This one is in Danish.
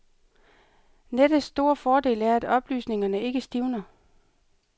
Nettets store fordel er, at oplysningerne ikke stivner.